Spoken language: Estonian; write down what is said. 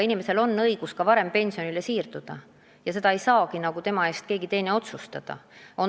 Inimesel on õigus ka varem pensionile siirduda ja kas ta seda teeb, seda ei saa tema eest keegi teine otsustada.